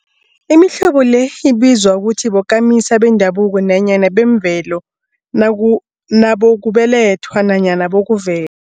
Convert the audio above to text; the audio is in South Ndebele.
Imihlobo le ibizwa ukuthi bokamisa bendabuko nanyana bemvelo, nabo nabokubelethwa nanyana bokuve